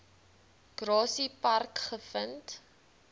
grassy park gevind